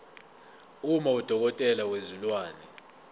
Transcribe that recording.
uma udokotela wezilwane